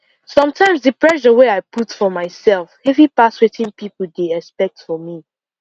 sometimes the pressure wey i put for myself heavy pass wetin people dey expect from me